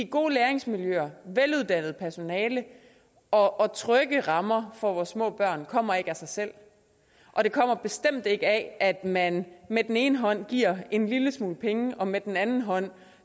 gode læringsmiljøer veluddannet personale og trygge rammer for vores små børn kommer ikke af sig selv og det kommer bestemt ikke af at man med den ene hånd giver en lille smule penge og med den anden hånd